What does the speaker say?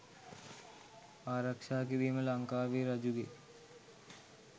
ආරක්‍ෂා කිරීම ලංකාවේ රජුගේ